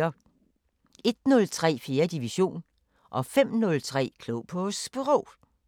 01:03: 4. division 05:03: Klog på Sprog